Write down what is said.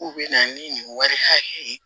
K'u bɛ na ni nin wari hakɛ ye